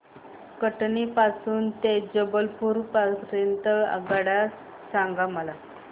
कटनी पासून ते जबलपूर पर्यंत च्या आगगाड्या मला सांगा